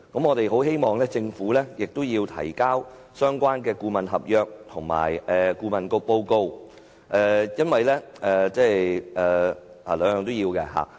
我們希望政府提交相關顧問合約及顧問報告，讓我們多作了解。